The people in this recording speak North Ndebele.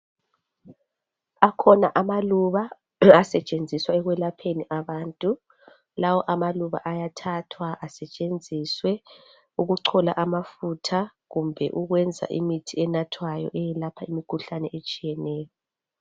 Akhona amaluba asetshenziswa ekwelapheni abantu lawo amaluba ayathathwa asetshenziswe ukuchola amafutha kumbe ukwenza imithi enathwayo eyelapha imikhuhlane etshiyeneyo.